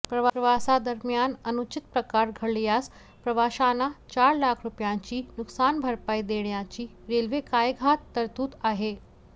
प्रवासादरम्यान अनुचित प्रकार घडल्यास प्रवाशांना चार लाख रुपयांची नुकसानभरपाई देण्याची रेल्वे कायद्यात तरतूद आहे